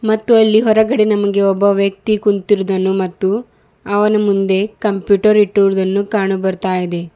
ಮತ್ತು ಅಲ್ಲಿ ಹೊರಗಡೆ ನಮಗೆ ಒಬ್ಬ ವ್ಯಕ್ತಿ ಕುಂತಿರುವುದನ್ನು ಮತ್ತು ಅವನ ಮುಂದೆ ಕಂಪ್ಯೂಟರ್ ಇಟ್ಟಿರುವುದನ್ನು ಕಾಣ ಬರ್ತಾ ಇದೆ.